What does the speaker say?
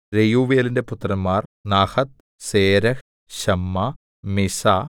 രെയൂവേലിന്റെ പുത്രന്മാർ നഹത്ത് സേരഹ് ശമ്മാ മിസ്സാ